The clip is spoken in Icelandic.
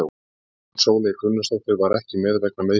Guðrún Sóley Gunnarsdóttir var ekki með vegna meiðsla.